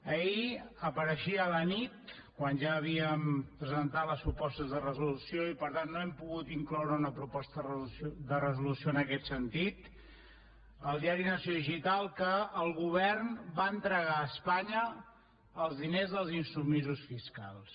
ahir apareixia a la nit quan ja havíem presentat les propostes de resolució i per tant no hem pogut incloure una proposta de resolució en aquest sentit al diari nació digital que el govern va entregar a espanya els diners dels insubmisos fiscals